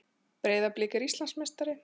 Breiðablik er Íslandsmeistari